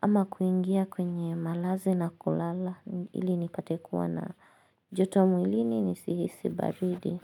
Ama kuingia kwenye malazi na kulala ili nipate kuwa na joto mwilini nisihisi baridi.